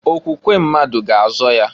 Okwukwe mmadu ga azọ ya.